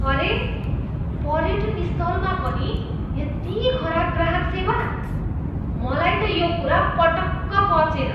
अरे! पर्यटन स्थलमा पनि यति खराब ग्राहक सेवा? मलाई त यो कुरा पटक्क पचेन।